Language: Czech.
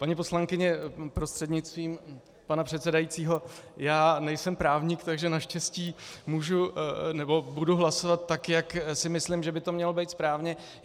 Paní poslankyně prostřednictvím pana předsedajícího, já nejsem právník, takže naštěstí můžu nebo budu hlasovat tak, jak si myslím, že by to mělo být správně.